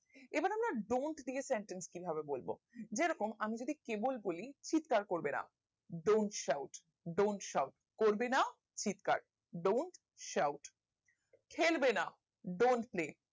বা don't দিয়ে sentence কিভাবে করবো যেরকম আমি যদি কেবল বলি চিৎকার করবে না don't shout don't shout করবে না চিৎকার don't shout খেলবে না don't play